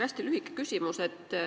Hästi lühike küsimus.